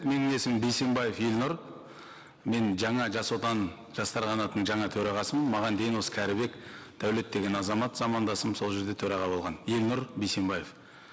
менің есімім бейсенбаев елнұр мен жаңа жас отан жастар қанатының жаңа төрағасымын маған дейін осы кәрібек дәулет деген азамат замандасым сол жерде төраға болған елнұр бейсенбаев